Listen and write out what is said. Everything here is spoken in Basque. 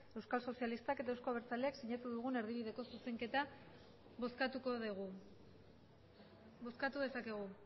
euskal sozialistak eta euzko abertzaleak sinatu dugun erdibideko zuzenketa bozkatuko dugu bozkatu dezakegu